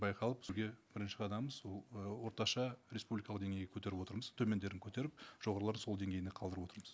байқалып бірінші қадамымыз ол ы орташа республикалық деңгейге көтеріп отырмыз төмендерін көтеріп жоғарыларын сол деңгейінде қалдырып отырмыз